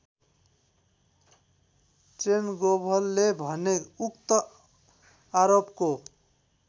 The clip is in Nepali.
ट्रेनगोभले भने उक्त आरोपको